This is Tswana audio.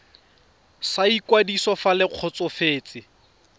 sa ikwadiso fa le kgotsofetse